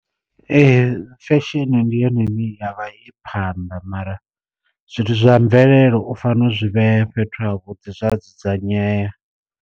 Ee fesheni ndi yone ine ya vha i phanḓa mara zwithu zwa mvelele u fanela u zwi vhea fhethu ha vhuḓi zwa dzudzanyea.